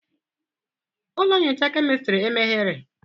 Ụlọ nyocha kemistri emeghere?